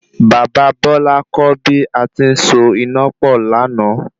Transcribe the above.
Bàbá Bọ́lá kọ́ bí ati ń so iná pọ̀ lana